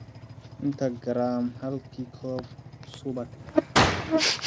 inta garaam halkii koob subag ah